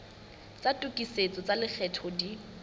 tsa tokisetso tsa lekgetho di